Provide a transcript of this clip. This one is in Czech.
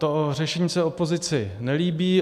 To řešení se opozici nelíbí.